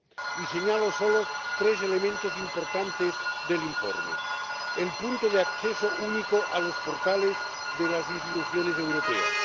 Y señalo solo tres elementos importantes del informe primero, el punto de acceso único a los portales de las instituciones europeas